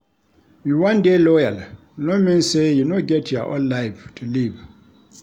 You wan dey loyal no mean sey you no get your own life to live.